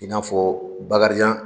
I n'afɔ bakarijan